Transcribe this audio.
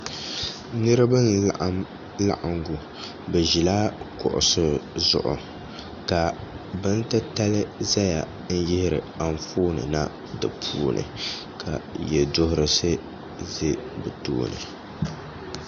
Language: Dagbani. niriba n-laɣim laɣiŋgu bɛ ʒila kuɣisi zuɣu ka bintitali zaya n-yihiri anfooni na di puuni ka yɛduhirisi za bɛ tooni